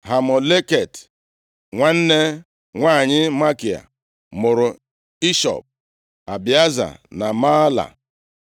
Hamoleket, nwanne nwanyị Makia mụrụ Ishod, Abieza na Mahla.